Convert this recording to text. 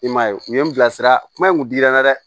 I m'a ye u ye n bila sira kuma in kun dira n na dɛ